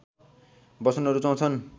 बस्न रुचाउँछन्